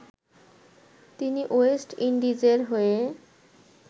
তিনি ওয়েস্ট ইন্ডিজের হয়ে